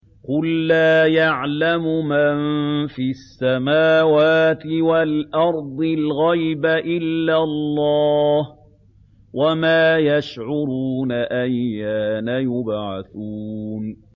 قُل لَّا يَعْلَمُ مَن فِي السَّمَاوَاتِ وَالْأَرْضِ الْغَيْبَ إِلَّا اللَّهُ ۚ وَمَا يَشْعُرُونَ أَيَّانَ يُبْعَثُونَ